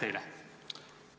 Aitäh teile!